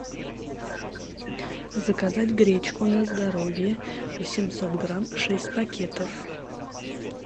заказать гречку на здоровье восемьсот грамм шесть пакетов